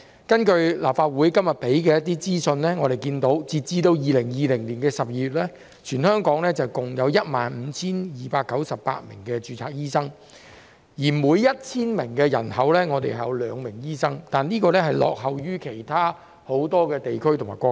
根據立法會今日提供的資訊，截至2020年12月，全港共有 15,298 名註冊醫生，每 1,000 名人口有兩名醫生，這比例落後於很多其他地區及國家。